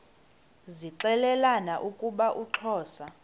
zixelelana ukuba uxhosa